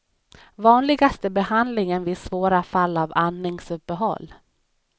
Vanligaste behandlingen vid svåra fall av andningsuppehåll.